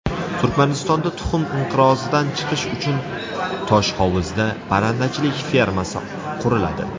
Turkmanistonda tuxum inqirozidan chiqish uchun Toshhovuzda parrandachilik fermasi quriladi.